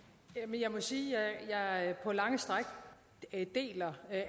jeg må sige at jeg på lange stræk deler